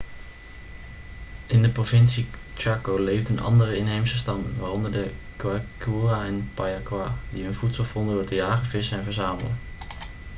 in de provincie chaco leefden andere inheemse stammen waaronder de guaycurú en payaguá die hun voedsel vonden door te jagen vissen en verzamelen